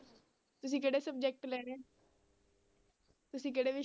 ਤੁਸੀਂ ਕਿਹੜੇ subject ਲੈਣੇ ਤੁਸੀਂ ਕਿਹੜੇ